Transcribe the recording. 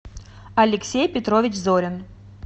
алексей петрович зорин